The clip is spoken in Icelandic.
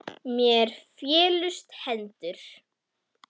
Mér féllust hendur.